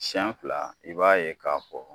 Siɲa fila i b'a ye k'a fɔ